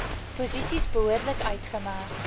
posisies behoorlik uitgemerk